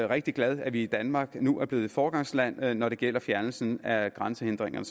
rigtig glad at vi i danmark nu er blevet foregangsland når det gælder fjernelsen af grænsehindringerne